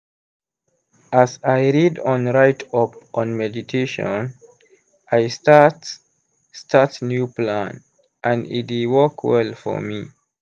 as i read on write up on meditation i start start new plan and e dey work well for me.